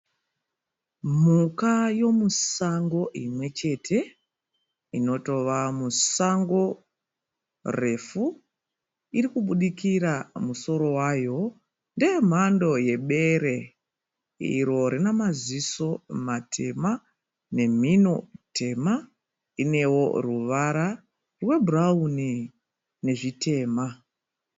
Mhuka yemusango imwechete. Inotova musango refu, irikubudikira musoro wayo. Ndeyemhando yebere, iro rinamaziso matema nemhino tema . Inewo ruvara rwebhurawuni nezvitema.